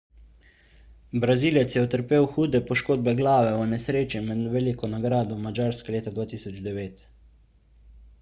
brazilec je utrpel hude poškodbe glave v nesreči med veliko nagrado madžarske leta 2009